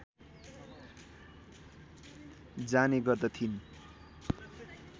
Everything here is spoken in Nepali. जाने गर्दथिन्